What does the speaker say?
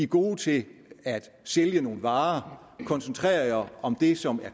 gode til at sælge nogle varer og koncentrer jer om det som